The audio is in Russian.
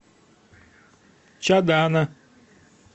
чадана